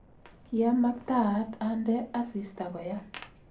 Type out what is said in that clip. kiamaktaat andee asista koyam